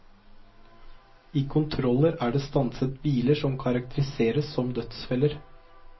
I kontroller er det stanset biler som karakteriseres som dødsfeller.